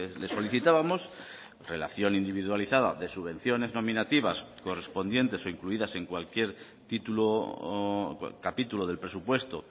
le solicitábamos relación individualizada de subvenciones nominativas correspondientes o incluidas en cualquier título o capítulo del presupuesto